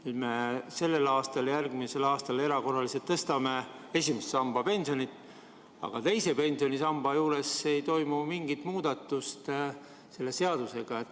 Nüüd sellel aastal, õigemini järgmisel aastal me tõstame erakorraliselt esimese samba pensionit, aga teise pensionisamba juures ei toimu mingit muudatust selle seadusega.